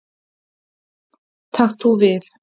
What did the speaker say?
Takt þú við.